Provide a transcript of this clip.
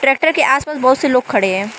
Tractor के आस पास बहोत से लोग खड़े हैं।